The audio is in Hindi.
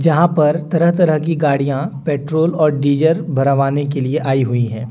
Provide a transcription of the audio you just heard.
यहां पर तरह तरह की गाड़ियां पेट्रोल और डीजर भरवाने के लिए आई हुई हैं।